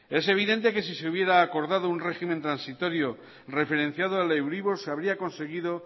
es evidente que si se hubiera acordado un régimen transitorio referenciado al euribor se habría conseguido